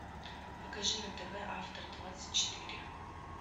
покажи на тв автор двадцать четыре